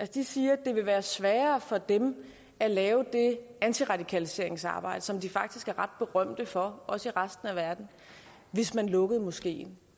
de siger at det vil være sværere for dem at lave det antiradikaliseringsarbejde som de faktisk er ret berømte for også i resten af verden hvis man lukkede moskeen